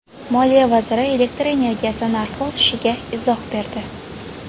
Moliya vaziri elektr energiyasi narxi o‘sishiga izoh berdi.